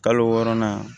Kalo wɔɔrɔnan